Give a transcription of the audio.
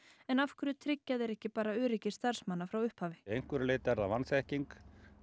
en af hverju tryggja þeir ekki bara öryggi starfsmanna frá upphafi einhverju leyti er það vanþekking